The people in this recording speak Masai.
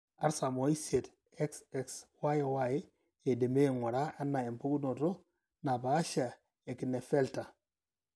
Artam oisiet, XXYY eidimi aing'ura anaa empukunoto naapaashaa eKlinefelter.